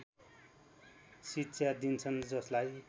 शिक्षा दिन्छन् जसलाई